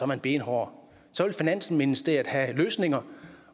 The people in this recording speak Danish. man benhård så vil finansministeriet have løsninger